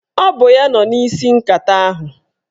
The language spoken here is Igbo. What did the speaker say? Ọ bụ ya nọ n'isi nkata ahụ